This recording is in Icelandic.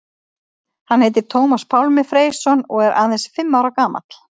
Hann heitir Tómas Pálmi Freysson og er aðeins fimm ára gamall.